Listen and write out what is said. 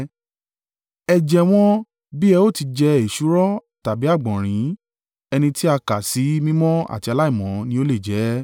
Ẹ jẹ wọ́n bí ẹ ó ti jẹ èsúró tàbí àgbọ̀nrín, ẹni tí a kà sí mímọ́ àti aláìmọ́ ni ó lè jẹ ẹ́.